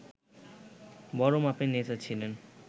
বড় মাপের নেতা ছিলেন